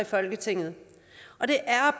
folketinget og det er